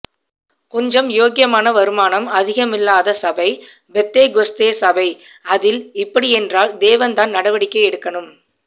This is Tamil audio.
கொஞ்சம் யோக்கியமான வருமானம் அதிகமில்லாத சபை பெந்தேகொஸ்தேசபை அதில் இப்படியென்றால் தேவன்தான் நடவடிக்கைஎடுக்கணும்